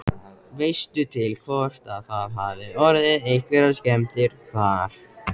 Veistu til hvort að það hafi orðið einhverjar skemmdir þar?